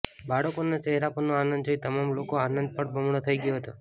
બાળકોના ચહેરા પરનો આનંદ જોઈ તમામ લોકોનો આનંદ પણ બમણો થઈ ગયો હતો